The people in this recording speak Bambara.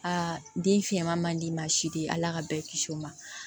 Aa den fiyɛnma man d'i ma sidi ala ka bɛɛ kisi o ma